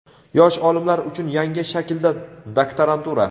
Yosh olimlar uchun yangi shaklda doktorantura.